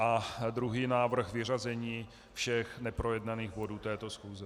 A druhý návrh - vyřazení všech neprojednaných bodů této schůze.